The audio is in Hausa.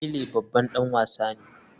Pele babban dan wasa ne.